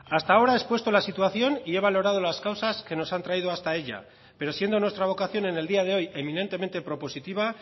hasta ahora he expuesto la situación y he valorado las causas que nos han traído hasta ella pero siendo nuestra vocación en el día de hoy eminentemente propositiva